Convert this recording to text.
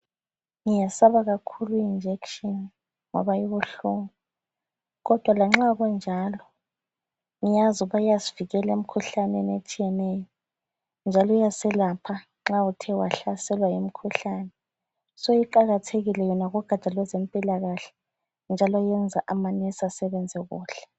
Ngiyesaba kakhulu i injection ngoba ibuhlungu. Kodwa lanxa kunjalo ngiyazi ukuba iyasivikeka emkhuhlaneni etshiyeneyo njalo iyaselapha nxa uthe wahlaselwa yimikhuhlane. So iqakathekile yona kugatsha lwezempilakahle njalo yenza amanesi asebenze kuhle.